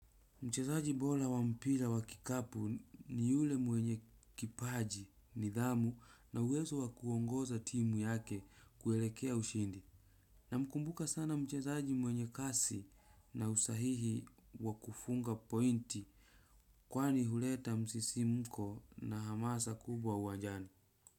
Mchezaji bora wampira wakikapu ni yule mwenye kipaji nidhamu na uwezo wakuongoza timu yake kuelekea ushindi. Namkumbuka sana mchezaji mwenye kasi na usahihi wakufunga pointi. Kwani huleta msisimko na hamasa kubwa uwajani.